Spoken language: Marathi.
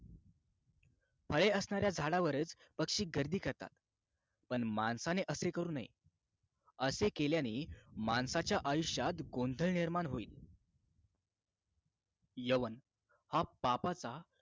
फळे असणाऱ्या झाडांवरच पक्षी गर्दी करतात पण माणसाने असे करू नये असे केल्याने माणसाच्या आयुष्यात गोंधळ निर्माण होईल यवन हा पापाचा